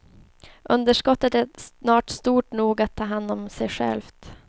Underskottet är snart stort nog att ta hand om sig självt.